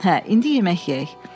Hə, indi yemək yeyək.